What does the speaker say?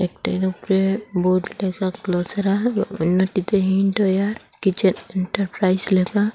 একটির উপরে বোর্ড লেখা গ্লসেরা অন্যটিতে হিন্ডওয়্যার কিচেন এন্টারপ্রাইজ লেখা।